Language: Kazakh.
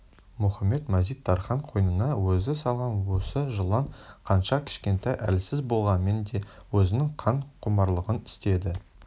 мұхамед-мазит-тархан қойнына өзі салған осы жылан қанша кішкентай әлсіз болғанмен де өзінің қан құмарлығын істеді